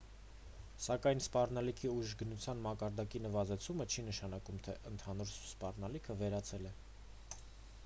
սակայն սպառնալիքի ուժգնության մակարդակի նվազեցումը չի նշանակում թե ընդհանուր սպառնալիքը վերացել է